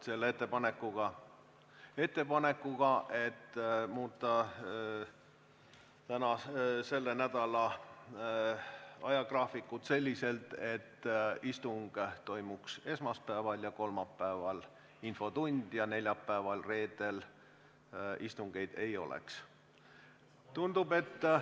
Kes ei nõustu ettepanekuga muuta selle nädala ajagraafikut selliselt, et istung toimuks esmaspäeval ja infotund kolmapäeval ja neljapäeval-reedel istungeid ei oleks?